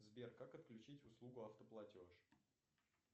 сбер как отключить услугу автоплатеж